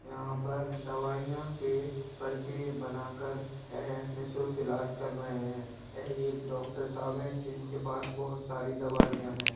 यहां पर दवाईया के पर्चे बना कर यह निः शुल्क इलाज कर रहे है यह एक डॉक्टर साहब है जिनके पास बहुत सारी दवाईया है।